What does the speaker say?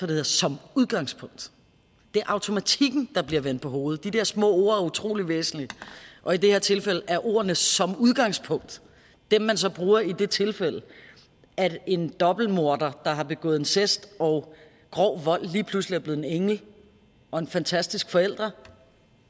det hedder som udgangspunkt det er automatikken der bliver vendt på hovedet de der små ord er utrolig væsentlige og i det her tilfælde er ordene som udgangspunkt dem man så bruger i det tilfælde at en dobbeltmorder der har begået incest og grov vold lige pludselig er blevet en engel og en fantastisk forælder